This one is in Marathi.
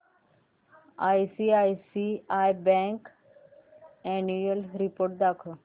आयसीआयसीआय बँक अॅन्युअल रिपोर्ट दाखव